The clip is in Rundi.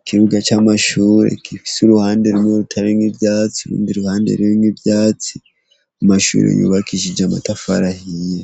ikibuga c' amashure gifise uruhande rumwe rutarimwo ivyatsi urundi ruhande ririmwo ivyatsi amashure yubakishije amatafari ahiye.